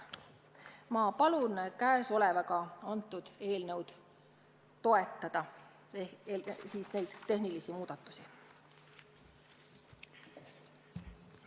Ma palun seda eelnõu ehk siis neid tehnilisi muudatusi toetada!